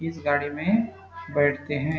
इस गाड़ी में बैठते है।